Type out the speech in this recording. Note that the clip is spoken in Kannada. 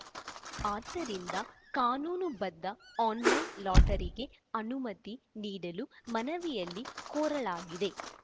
ಆದ್ದರಿಂದ ಕಾನೂನುಬದ್ಧ ಆನ್‌ಲೈನ್‌ ಲಾಟರಿಗೆ ಅನುಮತಿ ನೀಡಲು ಮನವಿಯಲ್ಲಿ ಕೋರಲಾಗಿದೆ